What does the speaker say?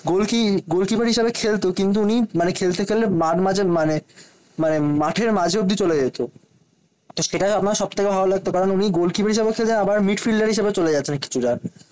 গোলকি goalkeeper হিসেবে খেলতো। কিন্তু উনি মানে খেলতে খেলতে মানে মানে মাঠের মাঝ অব্দি চলে যেত। তো সেটা আমার সব থেকে ভালো লাগতো। কারণ উনি গোল কিপার হিসাবে খেলে আবার মিডফিল্ডার হিসেবে চলে কিছুটা।